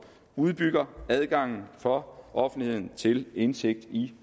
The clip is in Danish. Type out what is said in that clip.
udbygger adgangen for offentligheden til indsigt i